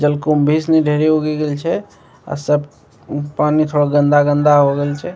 जलकुम्भी इसमें ढेरी उगी गेयल छे आ सब पानी थोड़ा गन्दा गन्दा होयगेयल छे --